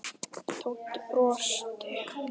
Tóti brosti.